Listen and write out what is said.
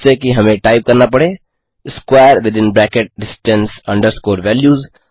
जिससे कि हमें टाइप करना पड़े square within bracket distance underscore values 2